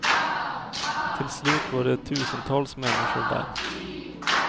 Till slut var det tusentals människor där.